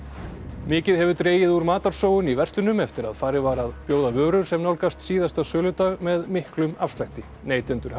mikið hefur dregið úr matarsóun í verslunum eftir að farið var að bjóða vörur sem nálgast síðasta söludag með miklum afslætti neytendur hafa